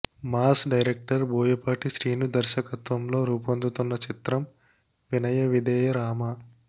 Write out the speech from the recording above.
mass director Boyapati Srinu దర్శకత్వంలో రుపొందుతున్న చిత్రం వినయ విధేయ రామ